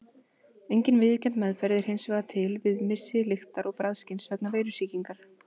Engin viðurkennd meðferð er hins vegar til við missi lyktar- og bragðskyns vegna veirusýkingar.